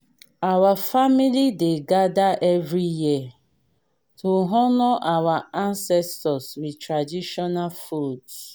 our family dey gather every year to honour our ancestors with traditional foods